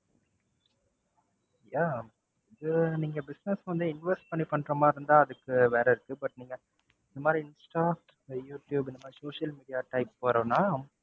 yeah அது நீங்க business வந்து invest பண்ணி பண்ற மாதிரி இருந்தா அதுக்கு வேற இருக்கு, but நீங்க இந்த மாதிரி இன்ஸ்டா, யூடுயூப் இந்த மாதிரி social media type வரும்னா